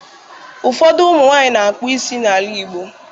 Ụfọdụ ụmụ nwaanyị na-akpụ isi n'ala Igbo